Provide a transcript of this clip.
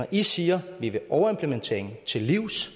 i siger at i vil overimplementeringen til livs